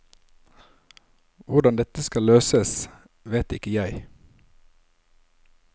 Hvordan dette skal løses, vet ikke jeg.